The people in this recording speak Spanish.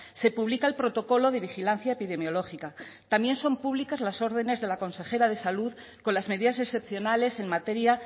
se publica el protocolo de vigilancia epidemiológica también son públicas las órdenes de la consejera de salud con las medidas excepcionales en materia